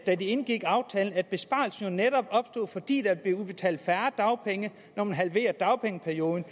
da de indgik aftalen at besparelsen netop opstår fordi der bliver udbetalt færre dagpenge når man halverer dagpengeperioden